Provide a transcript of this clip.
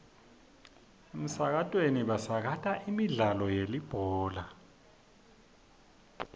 emsakatweni basakata imidlalo yelibhola